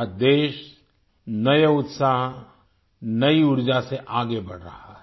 आज देश नए उत्साह नई ऊर्जा से आगे बढ़ रहा है